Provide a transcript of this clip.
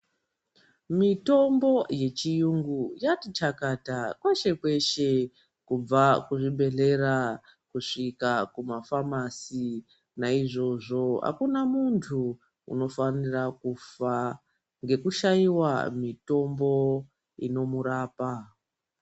Mitombo yechiyungu yakati chakata kweshe-kweshe kubva kuzvibhedhlera kusvika kumafamasi. Naizvozvo hakuna muntu unofanira kufa ngekushaiva mitombo inomurapa.